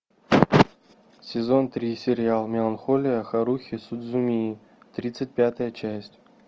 сезон три сериал меланхолия харухи судзумии тридцать пятая часть